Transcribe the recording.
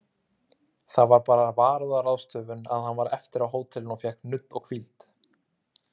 Það var bara varúðarráðstöfun að hann var eftir á hótelinu of fékk nudd og hvíld.